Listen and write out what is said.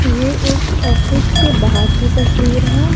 ये एक ऑफिस के बाहर की तस्वीर है।